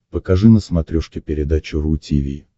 покажи на смотрешке передачу ру ти ви